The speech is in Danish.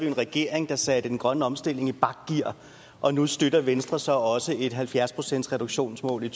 en regering der satte den grønne omstilling i bakgear og nu støtter venstre så også et halvfjerds procentsreduktionsmål i